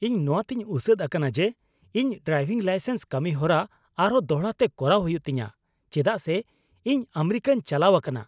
ᱤᱧ ᱱᱚᱣᱟᱛᱮᱧ ᱩᱥᱟᱹᱫ ᱟᱠᱟᱱᱟ ᱡᱮ ᱤᱧ ᱰᱨᱟᱭᱵᱷᱤᱝ ᱞᱟᱭᱥᱮᱱᱥ ᱠᱟᱹᱢᱤᱦᱚᱨᱟ ᱟᱨᱦᱚᱸ ᱫᱚᱲᱦᱟᱛᱮ ᱠᱚᱨᱟᱣ ᱦᱩᱭᱩᱜ ᱛᱤᱧᱟᱹ ᱪᱮᱫᱟᱜ ᱥᱮ ᱤᱧ ᱟᱢᱮᱨᱤᱠᱟᱧ ᱪᱟᱞᱟᱣ ᱟᱠᱟᱱᱟ ᱾